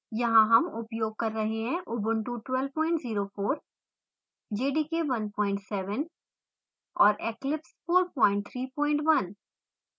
यहाँ हम उपयोग कर रहे हैं ubuntu ऊबंटु 1204 jdk 17 और eclipse 431